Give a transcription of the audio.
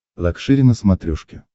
лакшери на смотрешке